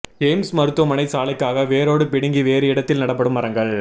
AIIMS மருத்துவமனை சாலைக்காக வேரோடு பிடுங்கி வேறு இடத்தில் நடப்படும் மரங்கள்